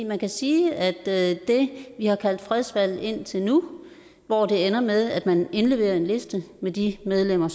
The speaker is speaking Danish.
man kan sige at at det vi har kaldt fredsvalg indtil nu hvor det ender med at man indleverer en liste med de medlemmer